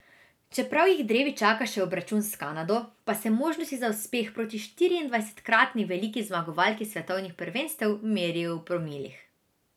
Čeprav jih drevi čaka še obračun s Kanado, pa se možnosti za uspeh proti štiriindvajsetkratni veliki zmagovalki svetovnih prvenstev merijo v promilih.